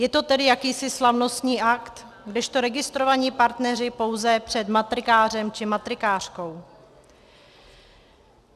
Je to tedy jakýsi slavnostní akt, kdežto registrovaní partneři pouze před matrikářem či matrikářkou.